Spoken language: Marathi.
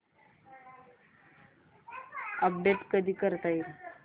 अपडेट कधी करता येईल